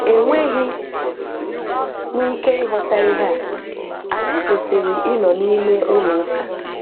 Enweghị m Ike ịghọta ihe a, anyị kwesịrị ịnọ n'ime ụlọụka.